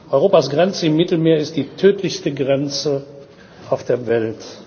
Europas Grenze im Mittelmeer ist die tödlichste Grenze auf der Welt.